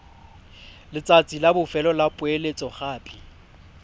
letsatsi la bofelo la poeletsogape